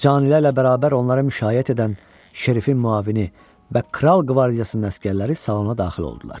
Canilərlə bərabər onları müşayiət edən Şerifin müavini və kral qvardiyasının əsgərləri salona daxil oldular.